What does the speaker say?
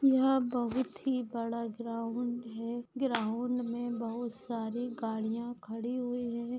यहा बहुत ही ग्राउन्ड है ग्राउन्ड मे बहुत सारी गाड़िया खड़ी हुई है।